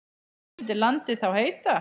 Hvað myndi landið þá heita?